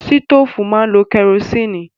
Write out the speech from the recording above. Sítòfù máa lo kẹrosínì.